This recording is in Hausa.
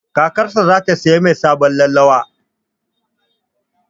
Kakarsa za ta saya masa sabon laulawa.